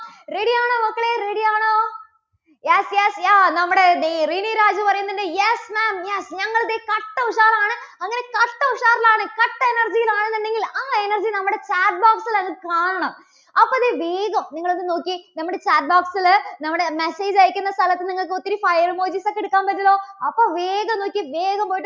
നിങ്ങൾ ഒന്ന് നോക്കിയേ നമ്മുടെ chat box ല് നമ്മുടെ message അയയ്ക്കുന്ന സ്ഥലത്ത് നിങ്ങൾക്ക് ഒത്തിരി file emojis ഒക്കെ എടുക്കാൻ പറ്റൂലോ. അപ്പോൾ വേഗം നോക്കിയേ, വേഗം പോയിട്ട്